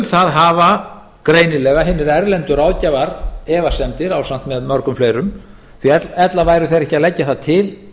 það hafa greinilega hinir erlendu ráðgjafar efasemdir ásamt með mörgum fleirum því ella væru þeir ekki að leggja það til